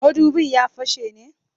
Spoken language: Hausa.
Mudubin ya fashe ne?